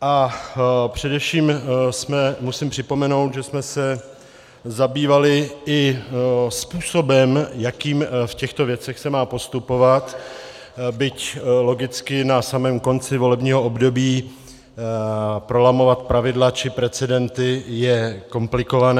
A především musím připomenout, že jsme se zabývali i způsobem, jakým v těchto věcech se má postupovat, byť logicky na samém konci volebního období prolamovat pravidla či precedenty je komplikované.